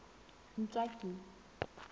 ntswaki